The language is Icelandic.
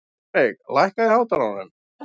Rannveig, lækkaðu í hátalaranum.